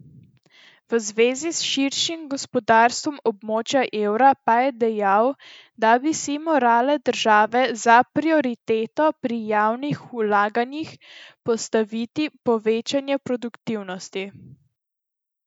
V zvezi s širšim gospodarstvom območja evra pa je dejal, da bi si morale države za prioriteto pri javnih vlaganjih postaviti povečanje produktivnosti.